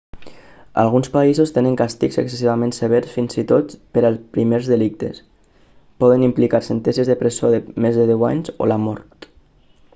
alguns països tenen càstigs excessivament severs fins i tot per a primers delictes poden implicar sentències de presó de més de deu anys o la mort